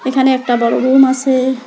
এখানে একটা বড়ো রুম আসে ।